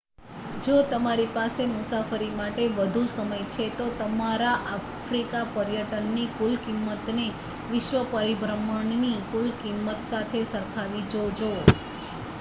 જો તમારી પાસે મુસાફરી માટે વધુ સમય છે તો તમારા આફ્રિકા પર્યટનનની કુલ કિંમતને વિશ્વ પરિભ્રમણની કુલ કિંમત સાથે સરખાવી જોજો